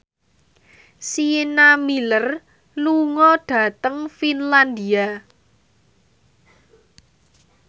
Sienna Miller lunga dhateng Finlandia